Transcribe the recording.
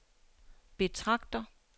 betragter